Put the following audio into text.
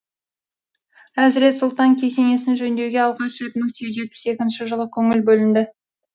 әзірет сұлтан кесенесін жөндеуге алғаш рет мың сегіз жүз жетпіс екінші жылы көңіл бөлінді